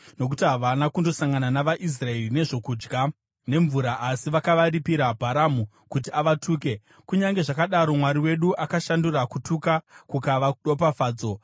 nokuti havana kundosangana navaIsraeri nezvokudya nemvura asi vakaripira Bharamu kuti avatuke. Kunyange zvakadaro, Mwari wedu, akashandura kutuka kukava ropafadzo.